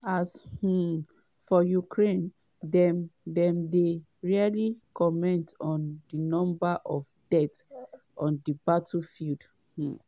as um for ukraine - dem - dem dey rarely comment on di number of deaths on di battlefield. um